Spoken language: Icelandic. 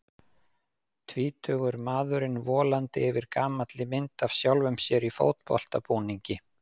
Tvítugur maðurinn volandi yfir gamalli mynd af sjálfum sér í fótboltabúningi.